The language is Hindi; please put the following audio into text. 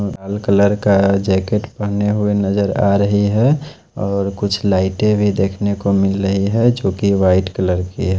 लाल कलर का जैकेट पहने हुए नजर आ रही है और कुछ लाइटें भी देखने को मिल रही है जो कि वाइट कलर की है।